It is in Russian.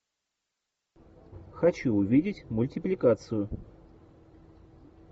хочу увидеть мультипликацию